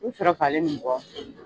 I sera falen nin bɔ.